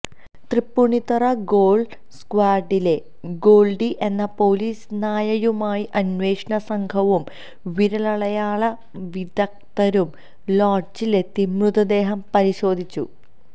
Tripunithura dog സ്ക്വാഡിലെ Goldie എന്ന police നായയുമായി അന്വേഷണ സംഘവും വിരലടയാള വിദക്തരും ലോഡ്ജിലെത്തി മൃതദേഹം പരിശോധിച്ചു